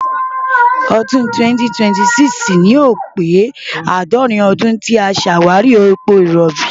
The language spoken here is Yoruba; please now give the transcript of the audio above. ọdún 2026 ni yóò pé àádọ́rin ọdún tí a ṣàwárí epo rọ̀bì.